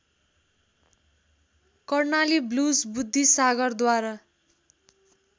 Karnali blues बुद्धिसागरद्वारा